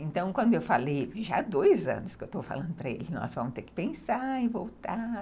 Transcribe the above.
Então, quando eu falei, já há dois anos que eu estou falando para ele, nós vamos ter que pensar e voltar.